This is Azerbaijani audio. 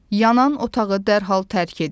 Yanan otağı dərhal tərk edin.